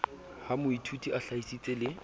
ha moithuti a hlahisitse le